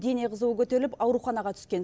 дене қызуы көтеріліп ауруханаға түскен